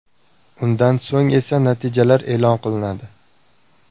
Undan so‘ng esa natijalar e’lon qilinadi.